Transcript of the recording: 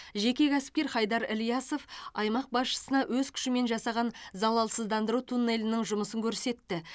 жеке кәсіпкер хайдар ильясов аймақ басшысына өз күшімен жасаған залалсыздандыру туннелінің жұмысын көрсетті